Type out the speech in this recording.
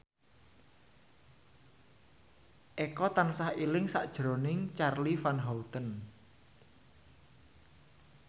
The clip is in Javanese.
Eko tansah eling sakjroning Charly Van Houten